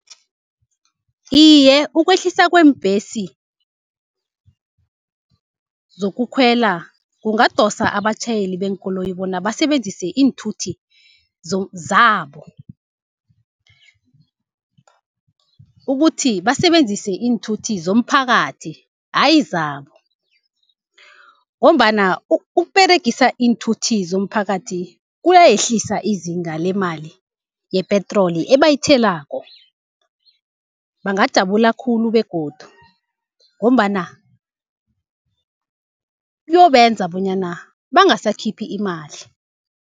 Iye, ukwehliswa kweembhesi zokukhwela kungadosa abatjhayeli beenkoloyi bona basebenzise iinthuthi zabo, ukuthi basebenzise iinthuthi zomphakathi ayi zabo. Ngombana ukUberegisa iinthuthi zomphakathi kuyayehlisa izinga lemali yepetroli ebayithelako, bangajabula khulu begodu ngombana kuyobenza bonyana bangasakhiphi imali.